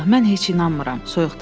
Valllah, mən heç inanmıram.